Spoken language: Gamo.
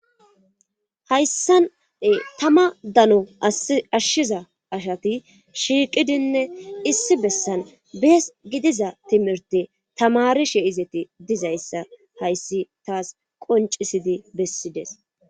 hayssane tama dano ashshiza ashati shiiqidinne issi bessan bees gidiza timirti tamarishe izeti dizayssa hayssi taas qoncisidi bessides